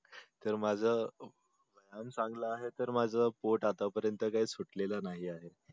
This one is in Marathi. तर माझ व्यायाम चांगल आहे तर माझ पोट आता पर्यंत तर काही सुटलेल नाही आहे.